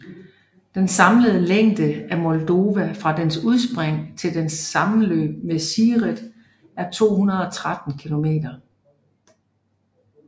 Den samlede længde af Moldova fra dens udspring til dens sammenløb med Siret er 213 km